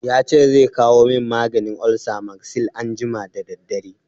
Ya ce zai kawo min maganin olsa Magsil anjima da daddare.